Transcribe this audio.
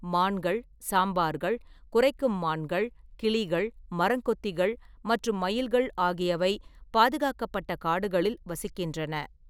மான்கள், சாம்பார்கள், குரைக்கும் மான்கள், கிளிகள், மரங்கொத்திகள் மற்றும் மயில்கள் ஆகியவை பாதுகாக்கப்பட்ட காடுகளில் வசிக்கின்றன.